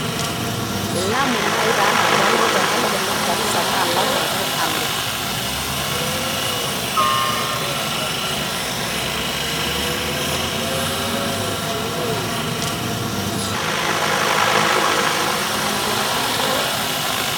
Lamu nai nanu alo tenalo naji Garissa naaa lamu ake alo